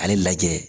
Ale lajɛ